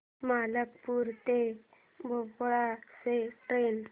मलकापूर ते भोपाळ ची ट्रेन